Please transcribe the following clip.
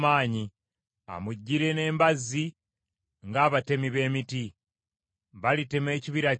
Balitema ekibira kye,” bw’ayogera Mukama Katonda, “newaakubadde nga kikutte nnyo. Bangi n’okusinga enzige, tebasobola kubalika.